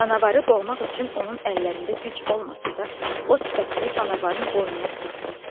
Canavarı boğmaq üçün onun əllərində güc olmasa da, o sifətini canavarın boynuna sıxdı.